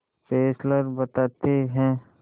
Fessler बताते हैं